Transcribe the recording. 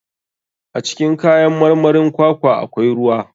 A cikin kayan marmarin kwakwa akwai ruwa.